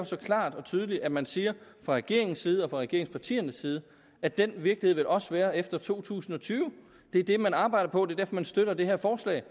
så klart og tydeligt at man siger fra regeringens side og fra regeringspartiernes side at den virkelighed vil der også være efter to tusind og tyve det er det man arbejder på det er man støtter det her forslag